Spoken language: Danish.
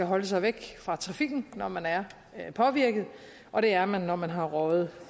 holde sig væk fra trafikken når man er påvirket og det er man når man har røget